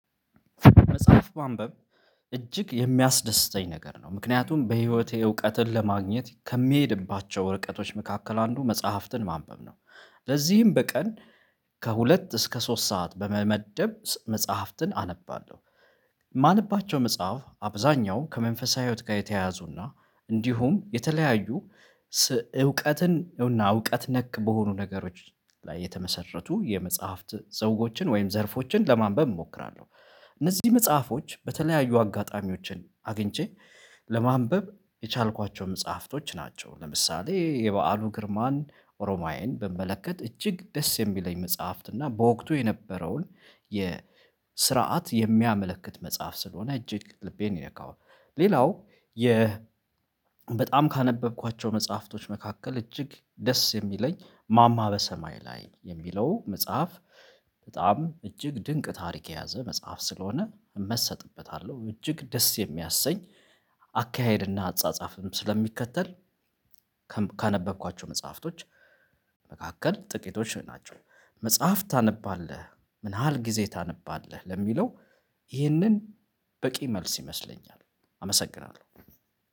መጽሐፍ ማንበብ እጅግ የሚያስደስተኝ ነገር ነው። ምክንያቱም በህይወቴ እውቀትን ለማግኘት ከምሄድባቸው ወረቀቶች መካከል አንዱ መጽሐፍትን ማንበብ ነው። ለዚህም በቀን ከሁለት እስከ ሶስት ሰዓት በመመደብ መጽሐፍትን አነባለሁ። የማነባቸው መጽሐፍ አብዛኛው ከመንፈሳዊ ህይወት ጋር የተያያዙና እንዲሁም የተለያዩ እውቀትን እውቀት ነክ በሆኑ ነገሮች ላይ የተመሰረቱ የመጽሐፍት ጽዋዎችን ወይም ዘርፎችን ለማንበብ እሞክራለሁ። እነዚህ መጽሐፎች በተለያዩ አጋጣሚዎችን አግኝቼ ለማንበብ የቻልኳቸው መጽሐፍቶች ናቸው። ለምሳሌ የበአሉ ግርማን ኦሮማውያን በመለከት እጅግ ደስ የሚለኝ መጽሐፍት እና በወቅቱ የነበረውን የ ስርዓት የሚያመለክት መጽሐፍ ስለሆነ እጅግ ልቤን ይነካዋል። ሌላው የ በጣም ካነበብኳቸው መጽሐፍቶች መካከል እጅግ ደስ የሚለኝ ማማ በሰማይ ላይ የሚለው መጽሐፍ። በጣም እጅግ ድንቅ ታሪክ የያዘ መጽሐፍ ስለሆነ እመሰጥበታለሁ እጅግ ደስ የሚያሰኝ አካሄድና አጻጻፍም ስለሚከተል። ከነበብኳቸው መጽሐፍቶች መካከል ጥቂቶች ናቸው። መጽሐፍ ታነባለህ ምን ያህል ጊዜ ታነባለህ? ለሚለው ይህንን በቂ መልስ ይመስለኛል። አመሰግናለሁ